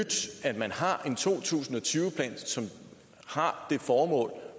at man har en to tusind og tyve plan som har det formål